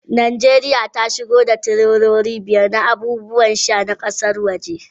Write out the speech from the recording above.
Najeriya ta shigo da tireloli biyar na abubuwan sha na kasashen waje.